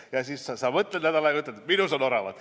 " Ja siis sa mõtled nädal aega ja ütled: "Jah, minus on oravat.